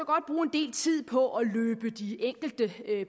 del tid på at løbe de enkelte